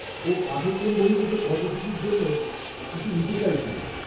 ও পাঠক্রম বহির্ভূত কর্মসূচীর জন্য কিছু নিতে চাইছিল।